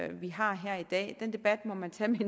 vi har her i dag den debat må man tage med